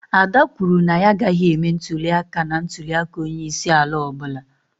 Ada kwuru na ya agaghị eme ntuli aka na ntuli aka onye isi ala ọ bụla.